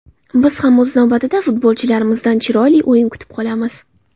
Biz ham o‘z navbatida futbolchilarimizdan chiroyli o‘yin kutib qolamiz.